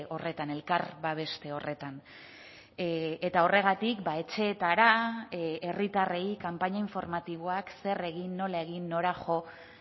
horretan elkar babeste horretan eta horregatik etxeetara herritarrei kanpaina informatiboak zer egin nola egin nora jo